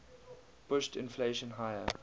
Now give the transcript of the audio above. pushed inflation higher